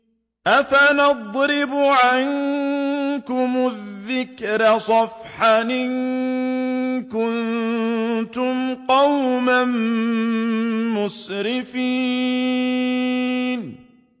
أَفَنَضْرِبُ عَنكُمُ الذِّكْرَ صَفْحًا أَن كُنتُمْ قَوْمًا مُّسْرِفِينَ